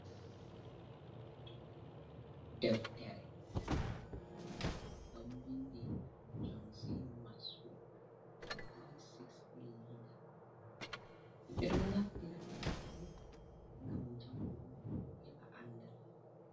Deftere ɗon binndi jon si maswel be 360 liida ,himɓe ɗon naftira deftere ngam janngugo heɓa anndal.